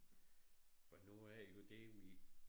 For nu er det jo hvordan vi